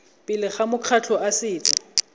pele ga makgotla a setso